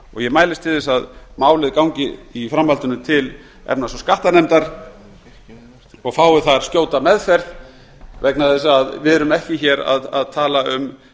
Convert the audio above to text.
og mælist til þess að málið gangi í framhaldinu til efnahags og viðskiptanefndar og fái þar skjóta meðferð vegna þess að við erum ekki hér að tala um